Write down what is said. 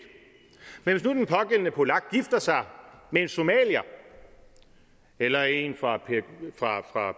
men hvis nu den pågældende polak gifter sig med en somalier eller en fra